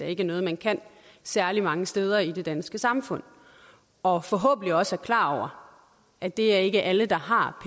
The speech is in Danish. ikke er noget man kan særlig mange steder i det danske samfund og forhåbentlig også klar over at det er ikke alle der har